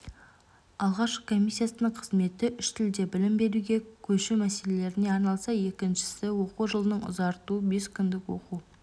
алғашқы комиссияның қызметі үштілде білім беруге көшу мәселелеріне арналса екіншісі оқу жылын ұзарту бес күндік оқу